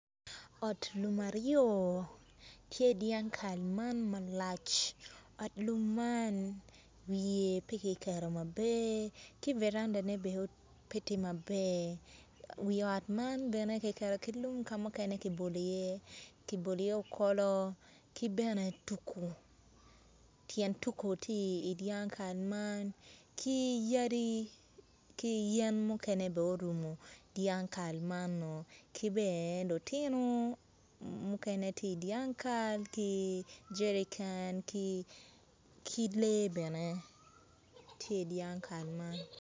Ot lum aryo tye i dyang kal man malac wiye pe tye maber dok varanda pe tye maber. Wi ot man ka mukene ki bolo iye okolo ki bene tuko tyen tuko bene tye i dyang kal ki yadi ki yen mukene bene orumo dyang kal mano.